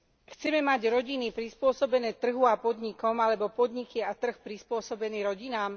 Chceme mať rodiny prispôsobené trhu a podnikom, alebo podniky a trh prispôsobený rodinám?